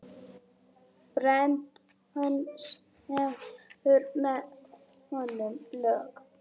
Brennan semur með honum lög.